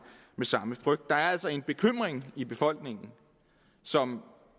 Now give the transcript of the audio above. med samme frygt der er altså en bekymring i befolkningen som